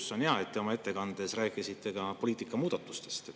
See on hea, et te oma ettekandes rääkisite ka poliitika muudatustest.